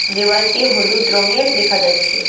দেওয়ালটি হলুদ রঙের দেখা যাচ্ছে।